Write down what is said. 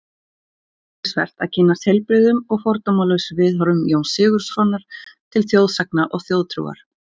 Er athyglisvert að kynnast heilbrigðum og fordómalausum viðhorfum Jóns Sigurðssonar til þjóðsagna og þjóðtrúar.